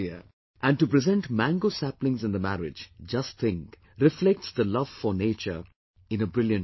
And to present Mango saplings in the marriage, just think, reflects the love for nature in a brilliant manner